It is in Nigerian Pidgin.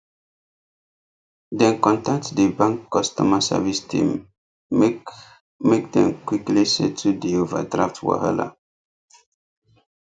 dem contact di bank customer service team make make dem quickly settle di overdraft wahala